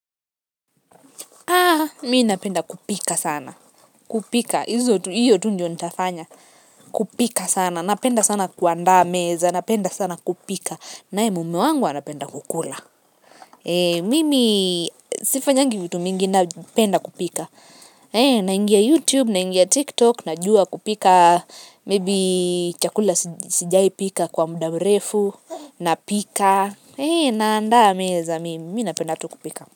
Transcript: Mi napenda kupika sana kupika, hiyo tu ndio nitafanya kupika sana, napenda sana kuandaa meza napenda sana kupika nae mume wangu anapenda kukula mimi, sifanyangi vitu mingi napenda kupika. Naingia YouTube, naingia TikTok. Najua kupika maybe chakula sijai pika kwa muda mrefu napika. Naandaa meza, mi napenda tu kupika.